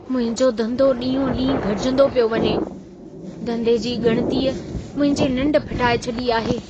मुंहिंजो धंधो ॾींहों-ॾींहुं घटिजंदो पियो वञे। धंधे जी ॻणितीअ मुंहिंजी निंढ फिटाए छॾी आहे।